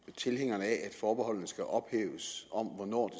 tilhængerne af at forbeholdene skal ophæves om hvornår